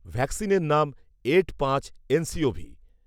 ভ্যাকসিনের নাম ‘এড পাঁচ এনসিওভি’